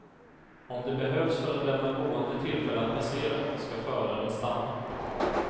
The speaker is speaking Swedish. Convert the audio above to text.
Om det behövs för att lämna gående tillfälle att passera, skall föraren stanna.